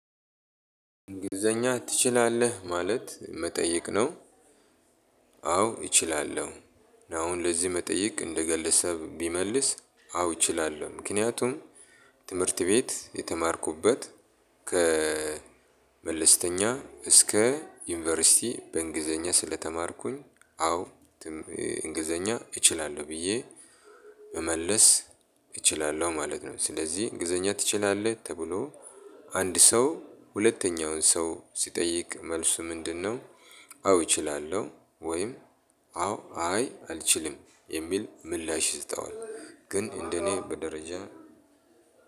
እንግሊዝኛ ትችላለህ ማለት መጠይቅ ነው። አዎ እችላለሁ። አሁን ለዚህ መጠይቅ እንደ ገለሰብ ቢመልስ አዎ እችላለሁ ምክንያቱም ትምህርት ቤት የተማርኩበት። ከ መለስተኛ እስከ ዩኒቨርሲቲ በእንግሊዘኛ ስለተማርኩኝ። አዎ እንግሊዘኛ እችላለሁ ብዬ መመለስ እችላለሁ ማለት ነው። ስለዚህ እንግሊዘኛ ትችላለህ ተብሎ አንድ ሰው ሁለተኛውን ሰው ሲጠይቅ መልሱ ምንድነው? አዎ እችላለሁ ወይም አዎ አይ አልችልም የሚል ምላሽ ይሰጠዋል። ግን እንደኔ በደረጃ